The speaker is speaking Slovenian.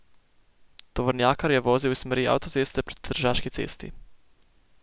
Tovornjakar je vozil iz smeri avtoceste proti Tržaški cesti.